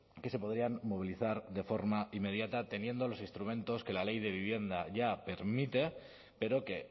que se podrían movilizar de forma inmediata teniendo los instrumentos que la ley de vivienda ya permite pero que